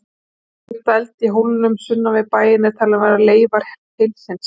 Aflöng dæld í hólnum sunnan við bæinn er talin vera leifar hellisins.